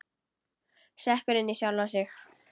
Sekkur inn í sjálfan sig.